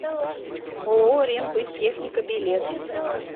ооо рембыттехника билет